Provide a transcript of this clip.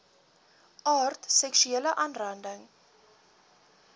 aard seksuele aanranding